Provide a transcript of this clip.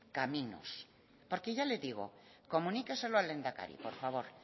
caminos porque ya le digo comuníqueselo al lehendakari por favor